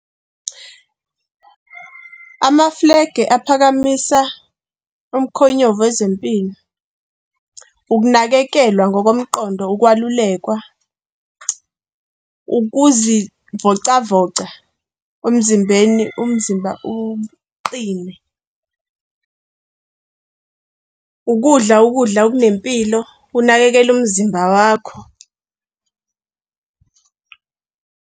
Amafulegi aphakamisa umkhonyovu wezempilo, ukunakekelwa ngokomqondo ukwalulekwa, ukuzivocavoca kumzimbeni umzimba uqine, ukudla ukudla okunempilo unakekele umzimba wakho.